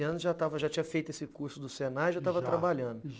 treze anos, já tinha feito esse curso do Senai, já estava trabalhando, já, já!